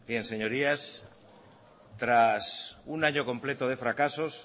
bien señorías tras un año completo de fracasos